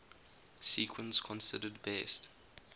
sequence considered best